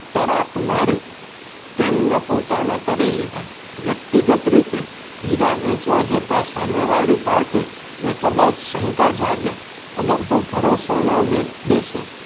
તરાપ મારી. તેમને પોતાના કરી લીધા. વ્યક્તિગત રીતે. હીરા વેચવા જતા સામે વાળી પાર્ટી ને કદાચ શંકા જાગે. અગર તો ભરોસો ન બેસે.